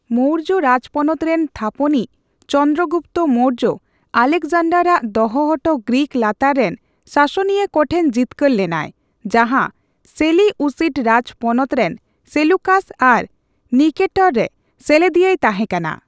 ᱢᱳᱨᱡᱚ ᱨᱟᱡᱽᱯᱚᱱᱚᱛ ᱨᱮᱱ ᱛᱷᱟᱯᱚᱱᱤᱡᱽ ᱪᱚᱱᱫᱨᱚ ᱜᱩᱯᱛᱚ ᱢᱳᱨᱡᱚ, ᱟᱞᱮᱠᱡᱟᱱᱰᱟᱨᱟᱜ ᱫᱚᱦᱚ ᱚᱴᱚ ᱜᱨᱤᱠ ᱞᱟᱛᱟᱨ ᱨᱮᱱ ᱥᱟᱥᱚᱱᱤᱭᱟᱹ ᱠᱚᱴᱷᱮᱱ ᱡᱤᱛᱠᱟᱹᱨ ᱞᱮᱱᱟᱭ, ᱡᱟᱦᱟ ᱥᱮᱞᱤᱩᱥᱤᱰ ᱨᱟᱡᱽ ᱯᱚᱱᱚᱛ ᱨᱮᱱ ᱥᱮᱞᱩᱠᱟᱥ ᱟᱤ ᱱᱤᱠᱮᱴᱚᱨ ᱨᱮ ᱥᱮᱞᱮᱫᱤᱭᱟᱹᱭ ᱛᱟᱦᱸᱮᱠᱟᱱᱟ ᱾